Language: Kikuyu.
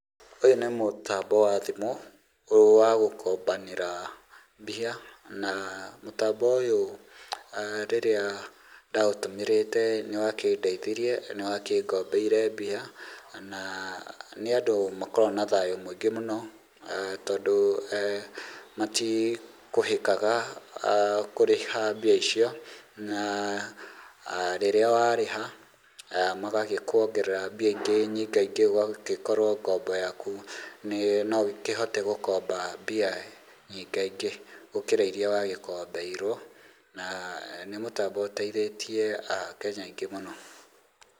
Ũyũ nĩ mũtambo wa thimũ wa gũkombanĩra mbia, na mũtambo ũyũ rĩrĩa ndaũtũmĩrĩte nĩwakĩndeithirie, nĩwakĩngombeire mbia, na nĩ andũ makoragwo na thayũ mũingĩ mũno, tondũ matikũhĩkaga kũrĩha mbia icio, na rĩrĩa warĩha, magagĩkuongerera mbia ingĩ nyingaingĩ ũgagĩkorwo ngombo yaku no ũkĩhote gũkomba mbia nyingaingĩ gũkĩra iria wagĩkombeirwo, na nĩ mũtambo ũteithĩtie akenya aingĩ mũno.